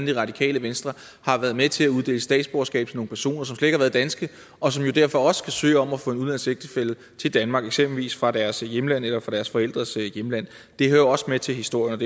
det radikale venstre har været med til at uddele statsborgerskab til nogle personer som slet ikke har været danske og som jo derfor også kan søge om at få en udenlandsk ægtefælle til danmark eksempelvis fra deres hjemland eller deres forældres hjemland det hører også med til historien